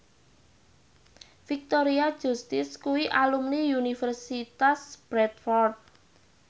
Victoria Justice kuwi alumni Universitas Bradford